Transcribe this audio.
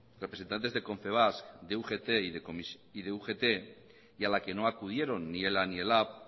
representantes de confebask de ugt y a la que no acudieron ni ela ni lab